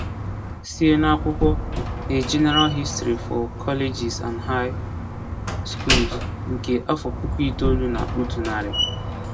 Sie n’akwụkwọ 'A General History for Colleges and High Schools', nke afọ puku itoolu na otu narị.